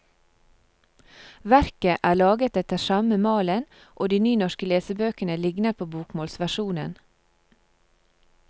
Verket er laget etter samme malen og de nynorske lesebøkene ligner på bokmålsversjonen.